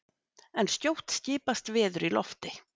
en skjótt skipast veður í lofti!